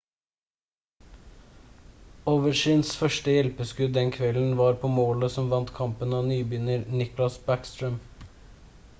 ovechkins første hjelpeskudd den kvelden var på målet som vant kampen av nybegynner nicklas backstrøm